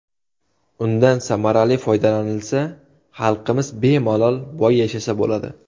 Undan samarali foydalanilsa, xalqimiz bemalol boy yashasa bo‘ladi.